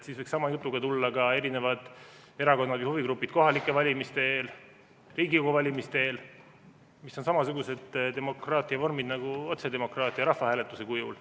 Siis võiks sama jutuga tulla ka erakonnad ja huvigrupid kohalike valimiste eel või Riigikogu valimiste eel, mis on samasugused demokraatia vormid nagu otsedemokraatia rahvahääletuse kujul.